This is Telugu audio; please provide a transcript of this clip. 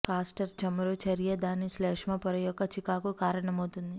కాస్టర్ చమురు చర్య దాని శ్లేష్మ పొర యొక్క చికాకు కారణమవుతుంది